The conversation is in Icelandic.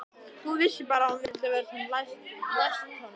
Hún vissi bara að hún vildi vera sem næst honum.